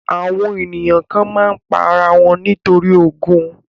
Àwọn ènìyàn kan má ń pa ara wọn torí ogún